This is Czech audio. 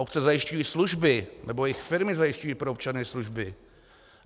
Obce zajišťují služby, nebo jejich firmy zajišťují pro občany služby.